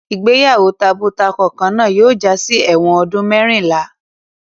Ìgbéyàwó tabo-takọ kan náà yóò jásí ẹ̀wọ̀n ọdún mẹ́rìnlá.